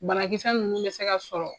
Banakisɛsa nunnu be se ka sɔrɔ